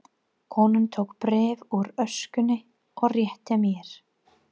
Konan tók bréf úr öskjunni og rétti mér.